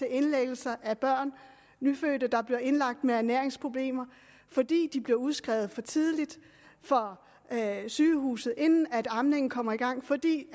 indlæggelser af børn nyfødte der bliver indlagt med ernæringsproblemer fordi de bliver udskrevet for tidligt fra sygehuset inden amningen kommer i gang fordi